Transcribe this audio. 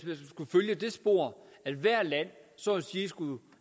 følge det spor at hvert land så at sige skulle